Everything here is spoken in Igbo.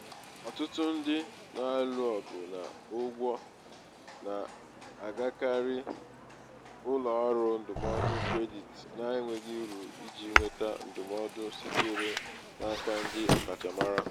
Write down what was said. ọtụtụ ndị na-alụ ọgụ na ụgwọ na-agakarị ụlọ ọrụ ndụmọdụ kredit na-enweghị uru iji nweta ndụmọdụ sitere n'aka ndị ọkachamara.